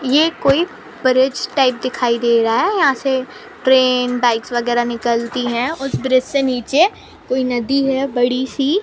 ये कोई bridge type दिखाई दे रहा है यहाँ से ट्रैन बाइक वगेरा निकलती है और ब्रिज से नीचे कोई नदी है बड़ी सी--